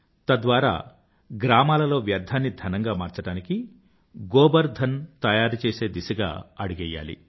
తద్వారా గ్రామాలలో వ్యర్థాన్ని ధనంగా మార్చడానికీ గోబర్ ధన్ తయారుచేసే దిశగా అడుగెయ్యాలి